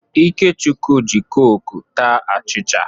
Ikechukwu ji kọkụ taa achịcha.